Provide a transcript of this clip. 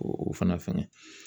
O fana fɛngɛ